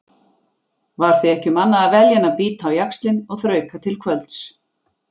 Var því ekki um annað að velja en bíta á jaxlinn og þrauka til kvölds.